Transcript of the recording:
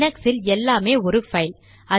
லினக்ஸில் எல்லாமே ஒரு பைல்